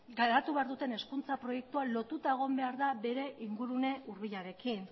garatu behar duten hezkuntza proiektua lotuta egon behar da bere ingurune hurbilarekin